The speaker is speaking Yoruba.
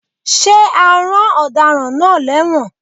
Ṣé a rán Ọ̀daràn náà lẹ́wọ̀n?